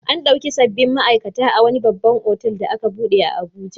An ɗebi sabbin ma'aikata a wani babban otal da aka buɗe a Abuja.